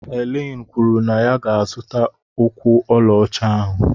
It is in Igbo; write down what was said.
Helen kwuru na ya ga-azụta ụkwụ ọlaọcha ahụ